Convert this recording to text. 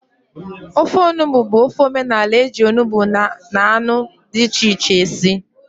Ofe onugbụ bụ ofe omenala eji onugbụ na anụ dị iche iche esi